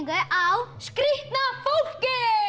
á skrýtna fólkið